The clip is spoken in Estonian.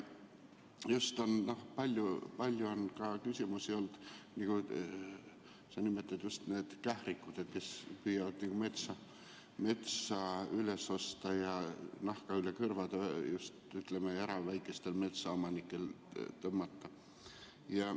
Palju on ka küsimusi olnud nende kährikute kohta, nagu sa nimetasid, kes püüavad metsa üles osta ja just väikestel erametsaomanikel nahka üle kõrvade tõmmata.